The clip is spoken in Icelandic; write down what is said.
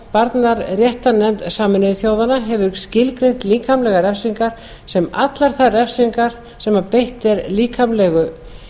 barnaréttarnefnd sameinuðu þjóðanna hefur skilgreint líkamlegar refsingar sem allar þær refsingar þar sem beitt er líkamlegu